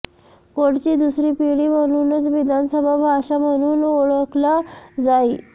कोडची दुसरी पिढी म्हणूनच विधानसभा भाषा म्हणून ओळखला जाई